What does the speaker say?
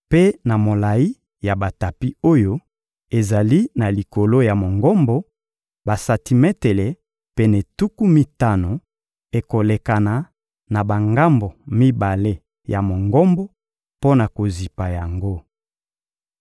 Mpe na molayi ya batapi oyo ezali na likolo ya Mongombo, basantimetele pene tuku mitano ekolekana na bangambo mibale ya Mongombo mpo na kozipa yango.